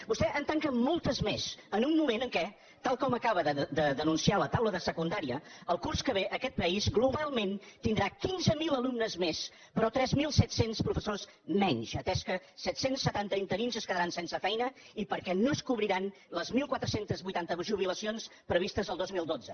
vostè en tanca moltes més en un moment en què tal com acaba de denunciar la taula de secundària el curs que ve aquest país globalment tindrà quinze mil alumnes més però tres mil set cents professors menys atès que set cents i setanta interins es quedaran sense feina i perquè no es cobriran les catorze vuitanta jubilacions previstes el dos mil dotze